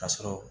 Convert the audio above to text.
Ka sɔrɔ